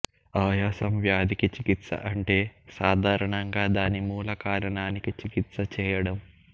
ఆయాసం వ్యాధికి చికిత్స అంటే సాధారణంగా దాని మూలకారణానికి చికిత్స చేయడం